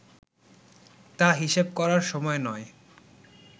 তা হিসেব করার সময় নয়